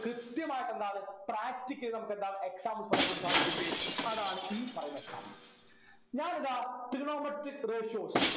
കൃത്യമായിട്ട് എന്താണ് practically നമുക്കെന്താണ് examples പറയാൻ വേണ്ടി സാധിക്കും അതാണ് ഈ പറയുന്ന example ഞാനിതാ trigonometric ratios